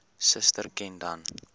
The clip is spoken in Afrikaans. suster ken dan